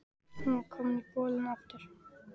Hún var komin í bolinn aftur.